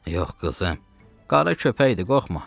Yox, qızım, qara köpəkdir, qorxma.